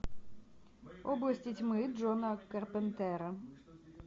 области тьмы джона керпентера